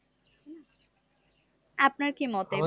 আপনার কি মতে